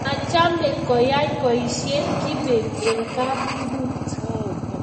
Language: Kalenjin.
machame koyai boishet kibet eng kabungut